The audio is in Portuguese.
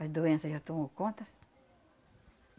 A doença já tomou conta.